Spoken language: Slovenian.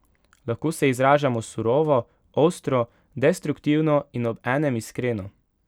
Lahko se izražamo surovo, ostro, destruktivno in ob enem iskreno.